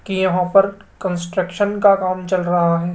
की यहां पर कंस्ट्रक्शन का काम चल रहा है।